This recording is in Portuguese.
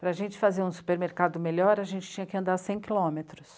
Para a gente fazer um supermercado melhor, a gente tinha que andar cem quilômetros.